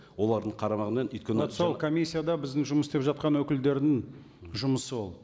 олардың қарамағымен өйткені сол комиссияда біздің жұмыс істеп жатқан өкілдерінің жұмысы ол